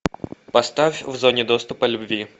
поставь в зоне доступа любви